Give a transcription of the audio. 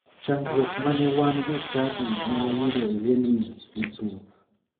Chandruok ma ne wan jochadi ne wayudo e liendni ne thoth.